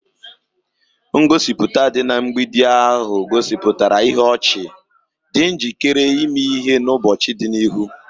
Ngosipụta dị na mgbidi ahụ gosipụtara ihu ọchị, dị njikere ime ihe n'ụbọchị dị n'ihu.